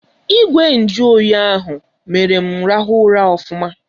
Ìgwè nju oyi ahụ mere m rahụ ụra ofụma.